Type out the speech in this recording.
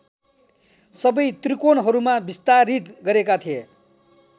सबै त्रिकोणहरूमा विस्तारित गरेका थिए